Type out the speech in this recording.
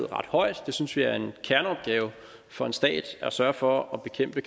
ret højt vi synes det er en kerneopgave for en stat at sørge for at bekæmpe